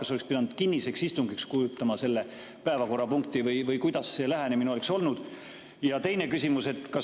Kas oleks pidanud kinnise istungi, et seda päevakorrapunkti arutada, või kuidas see lähenemine oleks olnud?